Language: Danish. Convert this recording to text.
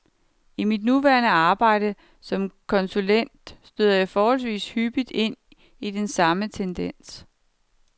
I mit nuværende arbejde som konsulent støder jeg forholdsvis hyppigt ind i den samme tendens.